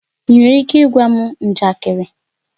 Ị nwere ike ịgwa m njakịrị?